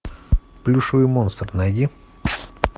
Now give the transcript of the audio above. плюшевый монстр найди